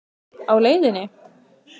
Á leiðinni?